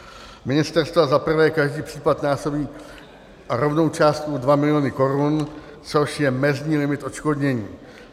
Ministerstva za prvé každý případ násobí rovnou částkou dva miliony korun, což je mezní limit odškodnění.